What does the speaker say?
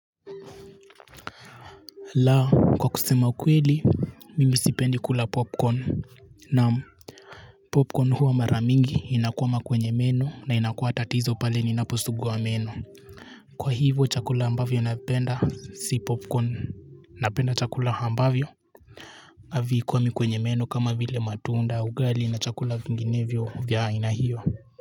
La kwa kusema kweli mimi sipendi kula popcorn na popcorn huwa mara mingi inakwama kwenye meno na inakuwa tatizo pale ninaposugua meno kwa hivyo chakula ambavyo napenda si popcorn napenda chakula ambavyo havikwami kwenye meno kama vile matunda ugali na chakula vinginevyo vya aina hiyo.